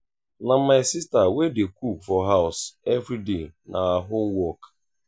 na my sista wey dey cook for house everyday na her own work.